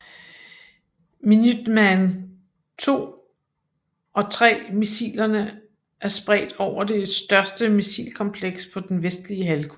Minuteman II og III missilerne er spredt over det største missilkompleks på den Vestlige Halvkugle